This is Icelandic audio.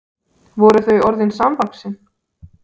Voru þau orðin samvaxin?